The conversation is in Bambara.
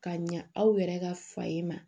Ka ɲa aw yɛrɛ ka fa ye ma